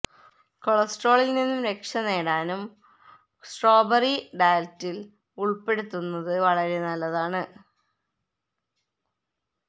കൊളസ്ട്രോളില് നിന്നും രക്ഷ നേടാനും സ്ട്രോബറി ഡയറ്റില് ഉള്പ്പെടുത്തുന്നത് വളരെ നല്ലതാണ്